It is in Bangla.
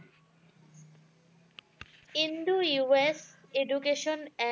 Indo US education act